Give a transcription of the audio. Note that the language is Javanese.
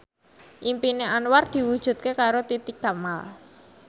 impine Anwar diwujudke karo Titi Kamal